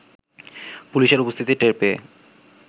পুলিশের উপস্থিতি টের পেয়ে